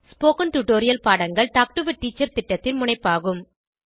spoken tutorial பாடங்கள் talk to a teacher திட்டத்தின் முனைப்பாகும்